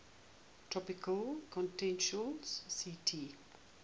tropical continental ct